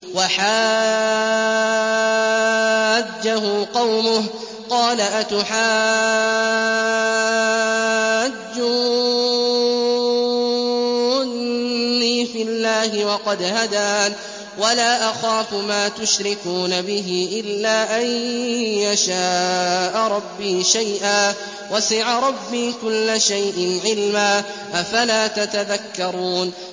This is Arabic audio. وَحَاجَّهُ قَوْمُهُ ۚ قَالَ أَتُحَاجُّونِّي فِي اللَّهِ وَقَدْ هَدَانِ ۚ وَلَا أَخَافُ مَا تُشْرِكُونَ بِهِ إِلَّا أَن يَشَاءَ رَبِّي شَيْئًا ۗ وَسِعَ رَبِّي كُلَّ شَيْءٍ عِلْمًا ۗ أَفَلَا تَتَذَكَّرُونَ